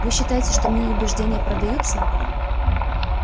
вы считаете что мои убеждения продаются